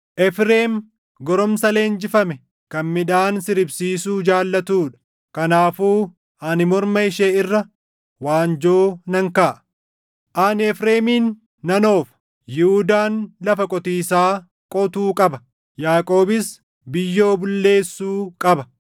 Efreem goromsa leenjifame kan midhaan siribsiisuu jaallatuu dha; kanaafuu ani morma ishee irra waanjoo nan kaaʼa. Ani Efreemin nan oofa; Yihuudaan lafa qotiisaa qotuu qaba; Yaaqoobis biyyoo bulleessuu qaba.